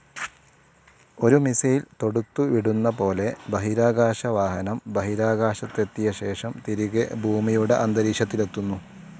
ഒരു മിസൈൽ തോടുത്തുവിടുന്ന പോലെ ബഹിരാകാശവാഹനം ബഹിരാകാശത്തെത്തിയ ശേഷം തിരികെ ഭൂമിയുടെ അന്തരീക്ഷത്തിലെത്തുന്നു.